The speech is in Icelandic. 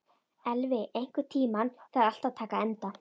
Elvi, einhvern tímann þarf allt að taka enda.